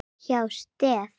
hjá STEF.